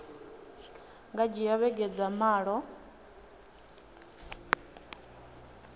nga dzhia vhege dza malo